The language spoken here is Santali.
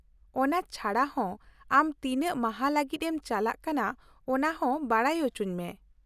-ᱚᱱᱟ ᱪᱷᱟᱰᱟ ᱦᱚᱸ , ᱟᱢ ᱛᱤᱱᱟᱹᱜ ᱢᱟᱦᱟ ᱞᱟᱜᱤᱫ ᱮᱢ ᱪᱟᱞᱟᱜ ᱠᱟᱱᱟ ᱚᱱᱟ ᱦᱚᱸ ᱵᱟᱰᱟᱭ ᱚᱪᱚᱧ ᱢᱮ ᱾